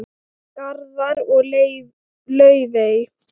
Garðar og Laufey.